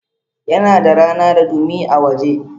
Yana da rana da dumi a waje.